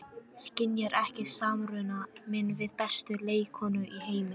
Skynjar ekki samruna minn við bestu leikkonu í heimi.